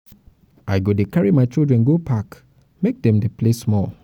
i go dey carry my children go park make dem play um small.